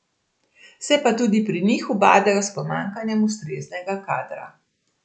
Se pa tudi pri njih ubadajo s pomanjkanjem ustreznega kadra.